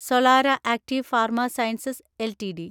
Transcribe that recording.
Solara Active Pharma Sciences LTD